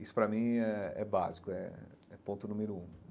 Isso, para mim, é é básico, é é ponto número um.